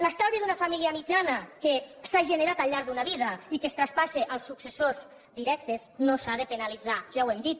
l’estalvi d’una família mitjana que s’ha generat al llarg d’una vida i que es traspassa als successors directes no s’ha de penalitzar ja ho hem dit